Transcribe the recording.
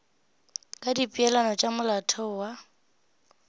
ka dipeelano tša molaotheo wa